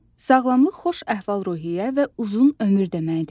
Sağlamlıq xoş əhval-ruhiyyə və uzun ömür deməkdir.